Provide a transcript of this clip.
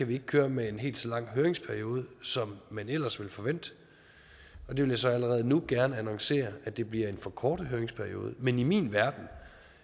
vi ikke køre med en helt så lang høringsperiode som man ellers ville forvente det vil jeg så allerede nu gerne annoncere at det bliver en forkortet høringsperiode men i min verden